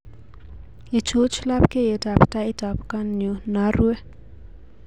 Ichuch labkyetab taitab konyu naruee